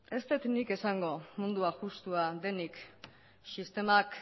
ez dut nik esango mundua justua denik sistemak